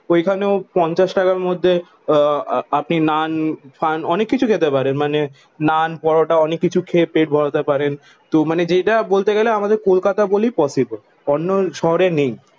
ওইখানেও পঞ্চাশ টাকার মধ্যে আহ আপনি নান পান অনেক কিছু খেতে পারেন। মানে নান পরোটা অনেক কিছু খেয়ে পেট ভরাতে পারেন। তো মানে যেটা বলতে গেলে আমাদের কলকাতা বলেই পসিবল অন্য শহরে নেই।